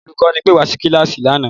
Olùkọ́ni pẹ́ wá sí kíláàsì lánàá